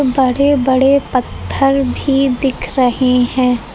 बड़े बड़े पत्थर भी दिख रहे हैं।